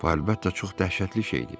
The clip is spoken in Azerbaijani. Bu əlbəttə çox dəhşətli şey idi.